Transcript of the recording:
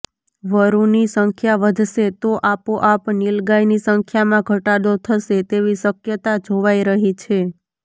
વરૂની સંખ્યા વધશે તો આપોઆપ નીલગાયની સંખ્યામાં ઘટાડો થશે તેવી શક્યતા જોવાઇ રહી છે